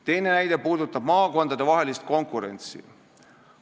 Teine näide puudutab maakondadevahelist konkurentsi.